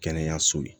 Kɛnɛyaso ye